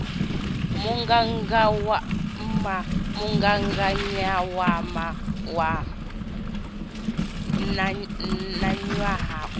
mugaganyagwama mugaganyagwama wa ṋaṅwaha u